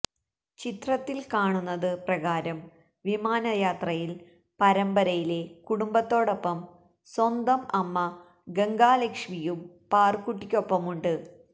ചിത്രത്തില് കാണുന്നത് പ്രകാരം വിമാനയാത്രയില് പരമ്പരയിലെ കുടുംബത്തോടൊപ്പം സ്വന്തം അമ്മ ഗംഗാ ലക്ഷ്മിയും പാറുക്കുട്ടിക്കൊപ്പമുണ്ട്